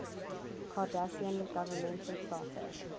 cardassian governmental charter